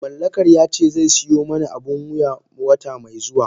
Mallakar yace zai siyo mani abun wuya wata mai zuwa.